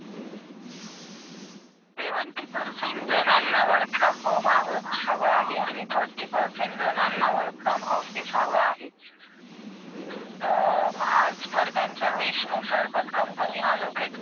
Seventy percent जणांना work from home हवा ,हवा आहे आणि thirty percent जणांना work from office हवा आहे as per त्यांचा wish अनुसार company allocate